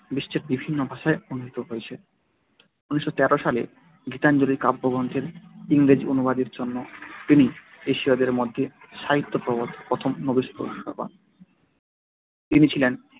বিশ্বের বিভিন্ন ভাষায় অনূদিত হয়েছে। এক হাজার নয় শো তেরো সালে গীতাঞ্জলি কাব্যগ্রন্থের ইংরেজি অনুবাদের জন্য তিনি এশীয়দের মধ্যে সাহিত্যে প্রথম নোবেল পুরস্কার পান তিনি ছিলেন